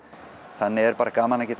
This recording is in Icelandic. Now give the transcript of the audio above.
þannig er bara gaman að geta